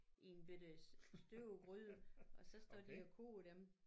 I en bette støbegryde og så står de og koger dem